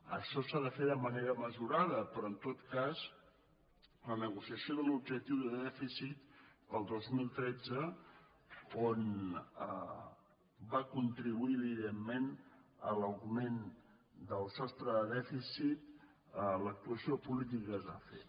això s’ha de fer de manera mesurada però en tot cas la negociació de l’objectiu de dèficit per al dos mil tretze on va contribuir evidentment l’augment del sostre de dèficit l’actuació política que es va fer